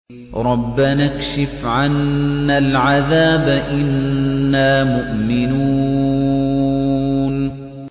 رَّبَّنَا اكْشِفْ عَنَّا الْعَذَابَ إِنَّا مُؤْمِنُونَ